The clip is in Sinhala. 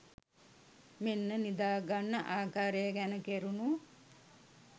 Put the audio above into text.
මෙන්න නිදා ගන්න ආකාරය ගැන කෙරුණු